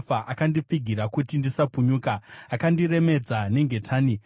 Akandipfigira kuti ndisapunyuka, akandiremedza nengetani.